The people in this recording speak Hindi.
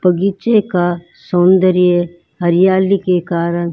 बगीचे का सौंदर्य हरियाली के कारण--